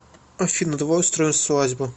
афина давай устроим свадьбу